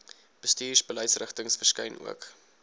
bestuursbeleidsrigtings verskyn ook